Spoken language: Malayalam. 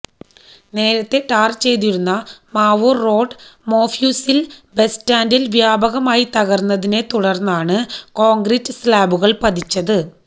നേരത്തേ ടാർ ചെയ്തിരുന്ന മാവൂർ റോഡ് മൊഫ്യൂസിൽ ബസ്സ്റ്റാൻഡ് വ്യാപകമായി തകർന്നതിനെ തുടർന്നാണ് കോൺക്രീറ്റ് സ്ലാബുകൾ പതിച്ചത്